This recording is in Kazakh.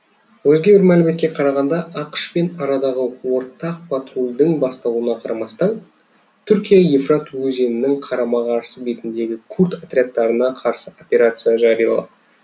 өзге бір мәліметке қарағанда ақш пен арадағы ортақ патрульдің басталуына қарамастан түркия евфрат өзенінің қарама қарсы бетіндегі курд отрядтарына қарсы операция жариялап